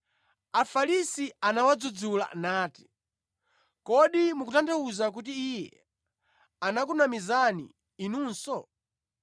Afarisi anawadzudzula nati, “Kodi mukutanthauza kuti Iye anakunamizani inunso?”